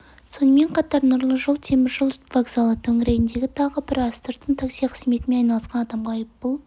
сонымен қатар нұры жол темір жол вокзалы төңірегінде тағы бір астыртын такси қызметімен айналысқан адамға айппұл